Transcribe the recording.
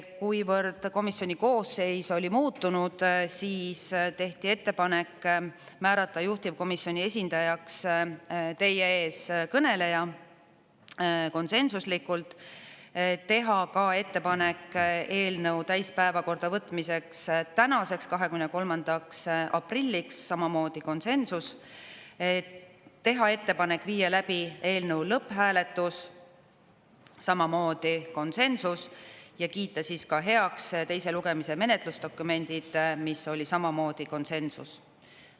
Kuivõrd komisjoni koosseis oli muutunud, siis tehti ettepanek määrata juhtivkomisjoni esindajaks teie ees kõneleja – konsensuslikult –, teha ka ettepanek eelnõu täiskogu päevakorda võtmiseks tänaseks, 23. aprilliks – samamoodi konsensus – ja teha ettepanek viia läbi eelnõu lõpphääletus – samamoodi konsensus – ja kiita heaks teise lugemise menetlusdokumendid, mis oli samamoodi konsensus.